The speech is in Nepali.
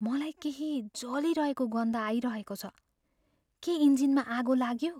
मलाई केही जलिरहेको गन्ध आइरहेको छ। के इन्जिनमा आगो लाग्यो?